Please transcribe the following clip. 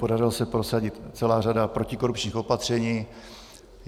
Podařilo se prosadit celou řadu protikorupčních opatření.